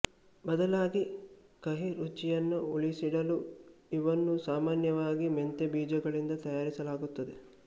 ಬದಲಾಗಿ ಕಹಿ ರುಚಿಯನ್ನು ಉಳಿಸಿಡಲು ಇವನ್ನು ಸಾಮಾನ್ಯವಾಗಿ ಮೆಂತೆ ಬೀಜಗಳಿಂದ ತಯಾರಿಸಲಾಗುತ್ತದೆ